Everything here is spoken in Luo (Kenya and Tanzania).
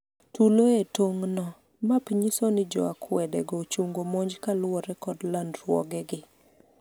tulo e tong' no, map nyiso ni jo akwede go ochungo monj kaluwore kod landruoge gi